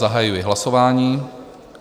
Zahajuji hlasování.